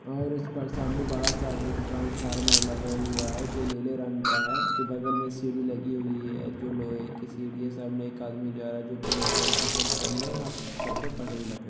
और इस पर सामने बड़ासा एक ट्रांसफॉर्मर लगा हुआ है जो नीले रंग का है उसके बगल में सीढ़ी लगी है जो लोहे की सीढ़ी है सामने एक आदमी जा रहा है जो पिंक कलर का शर्ट पहने हुए है और सर पे पगड़ी ल--